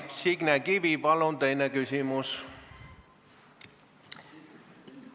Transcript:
Signe Kivi, palun teine küsimus!